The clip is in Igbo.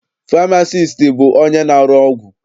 Famasiisti bụ onye na-arụ ọgwụ.